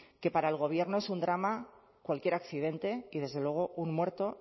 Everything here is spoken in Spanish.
que para el gobierno es un drama cualquier accidente y desde luego un muerto